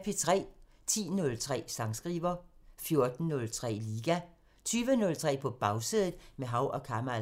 10:03: Sangskriver 14:03: Liga 20:03: På Bagsædet – med Hav & Kamal 23:03: Det Tomme Magasin